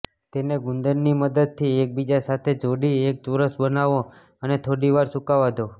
તેને ગુંદરની મદદથી એકબીજા સાથે જોડી એક ચોરસ બનાવો અને થોડી વાર સૂકાવા દો